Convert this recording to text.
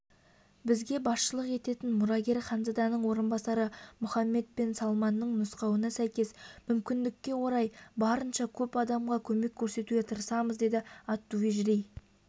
бізге басшылық ететін мұрагер ханзаданың орынбасары мухаммед бен салманның нұсқауына сәйкес мүмкіндікке орай барынша көп адамға көмек көрсетуге тырысамыз деді ат-тувижри